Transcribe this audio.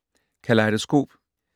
Kalejdoskop